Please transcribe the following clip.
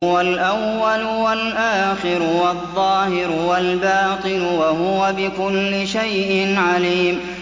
هُوَ الْأَوَّلُ وَالْآخِرُ وَالظَّاهِرُ وَالْبَاطِنُ ۖ وَهُوَ بِكُلِّ شَيْءٍ عَلِيمٌ